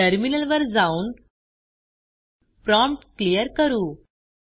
टर्मिनलवर जाऊन prompt clear करू